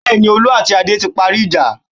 Bẹ́ẹ̀ni, Olú àti Adé ti parí ìjà.